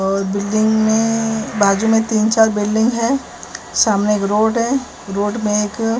और बिल्डिंग में बाजू में तीन चार बिल्डिंग है सामने एक रोड है रोड में एक --